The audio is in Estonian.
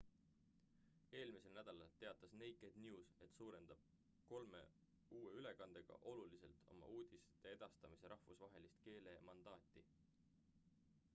eelmisel nädalal teatas naked news et suurendab kolme uue ülekandega oluliselt oma uudisteedastamise rahvusvahelist keelemandaati